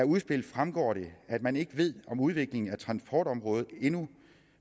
udspillet fremgår det at man ikke ved om udviklingen af transportområdet endnu